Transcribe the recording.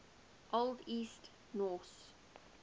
old east norse